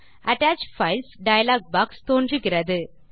attach files dialog box திறக்கிறது